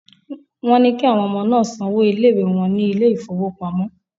Wọ́n ní kí àwọn ọmọ náà san owó ilé-ìwé wọn ní ilé ìfowópamọ́.